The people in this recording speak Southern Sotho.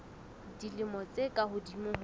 dilemo tse ka hodimo ho